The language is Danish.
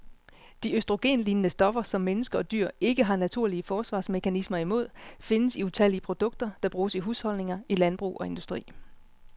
De østrogenlignende stoffer, som mennesker og dyr ikke har naturlige forsvarsmekanismer imod, findes i utallige produkter, der bruges i husholdninger, i landbrug og industri.